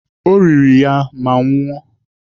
O riri ya ma nwụọ.